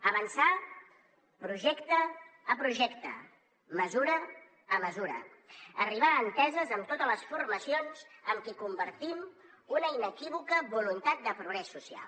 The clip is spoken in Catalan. avançar projecte a projecte mesura a mesura arribar a enteses amb totes les formacions amb qui compartim una inequívoca voluntat de progrés social